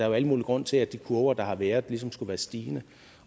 jo al mulig grund til at de kurver der har været ligesom skulle være stigende